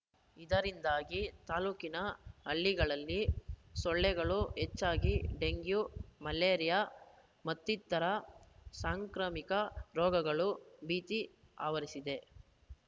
ಇದರಿಂದಾಗಿ ತಾಲೂಕಿನ ಹಳ್ಳಿಗಳಲ್ಲಿ ಸೊಳ್ಳೆಗಳು ಹೆಚ್ಚಾಗಿ ಡೆಂಗ್ಯೂ ಮಲೇರಿಯಾ ಮತ್ತಿತರರ ಸಾಂಕ್ರಮಿಕ ರೋಗಗಳ ಭೀತಿ ಆವರಿಸಿದೆ